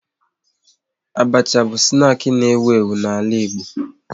Abacha bụ snaki na ewu ewu n'ala Igbo